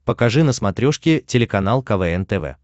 покажи на смотрешке телеканал квн тв